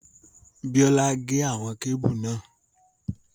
Bíọ́lá gé àwọn kébù náà